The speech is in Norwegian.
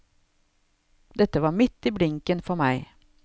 Dette var midt i blinken for meg.